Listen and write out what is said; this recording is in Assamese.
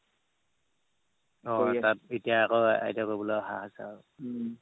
অ' তাত এতিয়া আকৌ ITI কৰিবলে অহা হৈছে আৰু